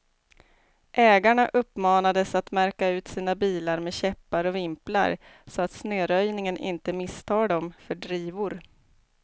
Ägarna uppmanades att märka ut sina bilar med käppar och vimplar, så att snöröjningen inte misstar dem för drivor.